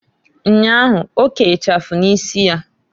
Nnyahu, oke ichafu n'isi ya.